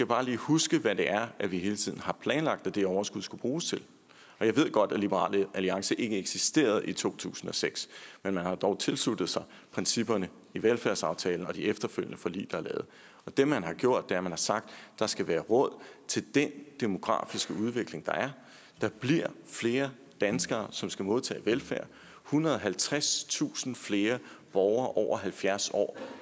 bare lige huske hvad det er er vi hele tiden har planlagt at det overskud skulle bruges til jeg ved godt at liberal alliance ikke eksisterede i to tusind og seks men man har dog tilsluttet sig principperne i velfærdsaftalen og de efterfølgende forlig der er lavet det man har gjort er at man har sagt at der skal være råd til den demografiske udvikling der er der bliver flere danskere som skal modtage velfærd ethundrede og halvtredstusind flere borgere over halvfjerds år